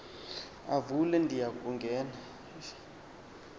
avule ndiya kungena